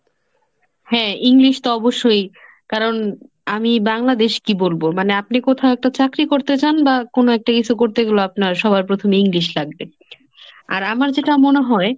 হ্যাঁ English তো অবশ্যই কারণ আমি বাংলাদেশ কি বলবো মানে আপনি কোথাও একটা চাকরী করতে চান বা কোনো একটা কিছু করতে গেলে আপনার সবার প্রথমে English লাগবে, আর আমার যেটা মনে হয়